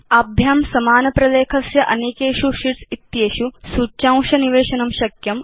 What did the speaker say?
एते समान प्रलेखस्य अनेकेषु शीट्स् इत्येषु सूच्यांशं निवेशयितुं शक्नुत